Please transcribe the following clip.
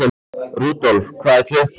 Rudolf, hvað er klukkan?